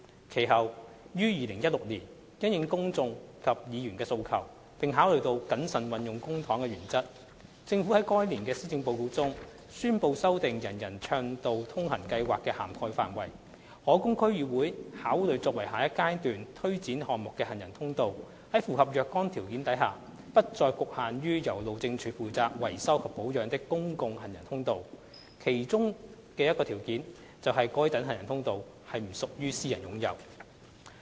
其後於2016年，因應公眾及議員的訴求，並考慮到謹慎運用公帑的原則，政府在該年的施政報告中宣布修訂"人人暢道通行"計劃的涵蓋範圍，可供區議會考慮作為下一階段推展項目的行人通道在符合若干條件下，不再局限於由路政署負責維修及保養的公共行人通道，當中的一個條件便是該等行人通道需不屬於私人擁有。